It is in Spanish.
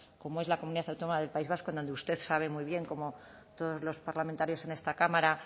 como es la comunidad autónoma del país vasco en donde usted sabe muy bien como todos los parlamentarios en esta cámara